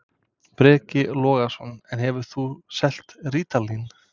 Breki Logason: En hefur þú selt rítalín?